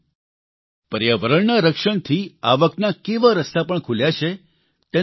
સાથીઓ પર્યાવરણના રક્ષણથી આવકના કેવા રસ્તા પણ ખૂલ્યા છે